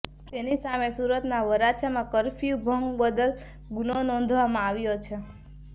તેમની સામે સુરતના વરાછામાં ફરફ્યું ભંગ બદલ ગુનો નોંધવામાં આવ્યો છે